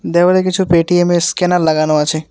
দেওয়ালে কিছু পেটিএমএর স্ক্যানার লাগানো আছে।